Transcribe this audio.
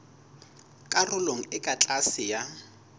karolong e ka tlase ya